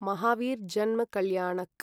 महावीर् जन्म कल्याणक्